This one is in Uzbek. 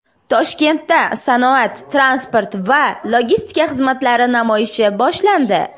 Toshkentda sanoat, transport va logistika xizmatlari namoyishi boshlandi.